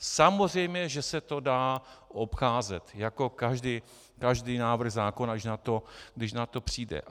Samozřejmě že se to dá obcházet jako každý návrh zákona, když na to přijde.